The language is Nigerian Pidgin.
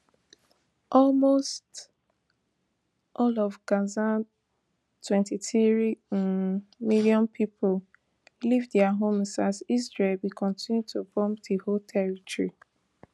almost all of gaza twenty-three um million people leave dia homes as israel bin continue to bomb di whole territory